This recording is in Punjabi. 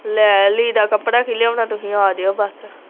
ਲੈ ਲੀੜਾ ਕੱਪੜਾ ਕੀ ਲਿਆਉਣਾ ਤੁਹੀ ਆਜਿਓ ਬਸ